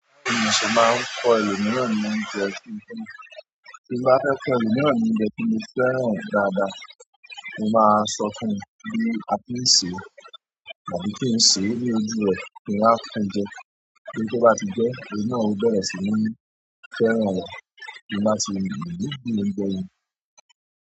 Bí mo ṣì máa ń kọ ẹlòmìíràn ní oúnjẹ kí n tó jẹun. Tí mo bá fẹ́ kọ ẹlòmìíràn ní oúnjẹ tí mo fẹ́ràn dáadáa, mo máa sọ fún-un bí a ti ń sèé, tàbí kí n sèé ní ojú rẹ̀ kí n wá fún jẹ. Bí ó bá ti jẹẹ́, òun náà ó bẹ̀rẹ̀ sì ní fẹ́ràn rẹ̀ kí ó sì lè gbín oúnjẹ yẹn.